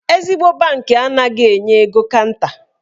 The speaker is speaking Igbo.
Ezigbo bankị anaghị enye ego kanta.